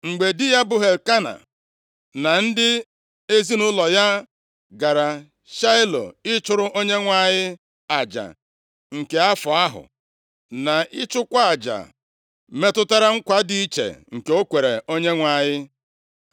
Mgbe di ya, bụ Elkena na ndị ezinaụlọ ya gara Shaịlo ịchụrụ Onyenwe anyị aja nke afọ ahụ, na ịchụkwa aja metụtara nkwa dị iche nke o kwere Onyenwe anyị,